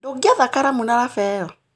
Ndũngĩetha karamu na raba ĩyo?